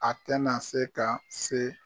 A tɛna na se ka se.